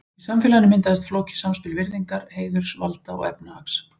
Í samfélaginu myndaðist flókið samspil virðingar, heiðurs, valda og efnahags.